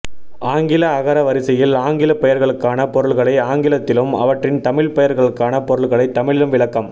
ஆங்கில அகர வரிசையில் ஆங்கிலப் பெயர்களுக்கான பொருள்களை ஆங்கிலத்திலும் அவற்றின் தமிழ்ப் பெயர்களுக்கான பொருள்களைத் தமிழிலும் விளக்கம்